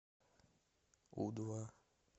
у два